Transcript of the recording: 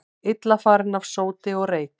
Illa farin af sóti og reyk